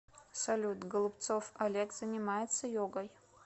салют голубцов олег занимается йогой